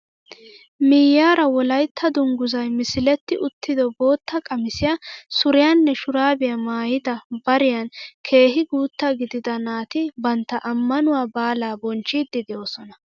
Miyiyaara wolaytta dunguzzay misiletti uttido bootta qamisiyaa, suriyaanne shuraabiyaa maayida bariyaan keehi guutta gidida naati bantta ammanuwaa baalaa boochchidi de'oosona.